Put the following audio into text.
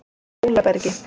Hólabergi